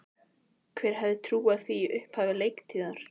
Hver hefði trúað því í upphafi leiktíðar?